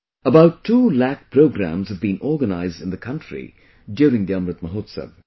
About two lakh programs have been organized in the country during the 'Amrit Mahotsav'